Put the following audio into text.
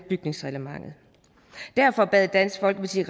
bygningsreglementet derfor bad dansk folkeparti